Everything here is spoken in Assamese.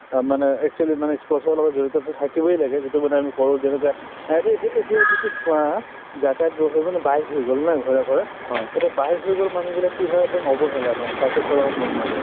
মানে actually মানে ই sports ৰ লগত জড়িত so থাকিবয়ে লাগে যিটো মানে আমি কওঁ যে এতিয়া যিটো চোৱা যাতায়ত ব্যৱস্থাতো মানে bike হৈ গল নে ঘৰে ঘৰে এতিয়া bike হৈ গলে মানুহবিলাক কি হয় একদম অৱহেলা মানে cycle চলাব মন নাযায়